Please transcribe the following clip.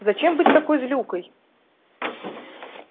зачем быть такой злюкой